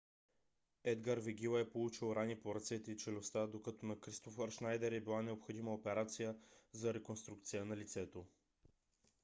едгар вегила е получил рани по ръцете и челюстта докато на кристофер шнайдер е била необходима операция за реконструкция на лицето